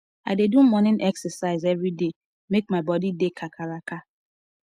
i dey do morning exercise every day make my body dey kakaraka